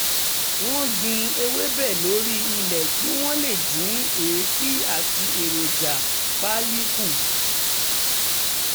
wọ́n gbin ewébẹ̀ lórí ilé kí wọ́n lè dín èéfín àti èròjà pálí kù